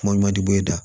Kuma ɲuman di e kan